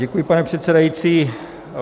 Děkuji, pane předsedající.